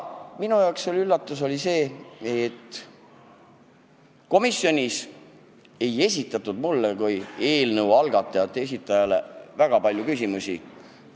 Minu jaoks oli üllatus see, et komisjonis ei esitatud mulle kui eelnõu algatajate esindajale väga palju küsimusi.